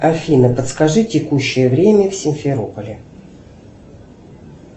афина подскажи текущее время в симферополе